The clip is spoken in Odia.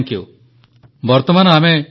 ପନ୍ ମରିୟପ୍ପନ୍ ଧନ୍ୟବାଦ ପ୍ରଧାନମନ୍ତ୍ରୀ ମହୋଦୟ